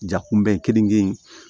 Jakun bɛɛ keninke